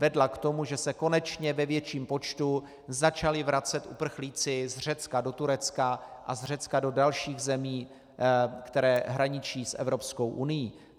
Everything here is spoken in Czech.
Vedla k tomu, že se konečně ve větším počtu začali vracet uprchlíci z Řecka do Turecka a z Řecka do dalších zemí, které hraničí s Evropskou unií.